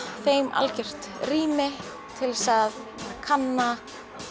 þeim algjört rými til að kanna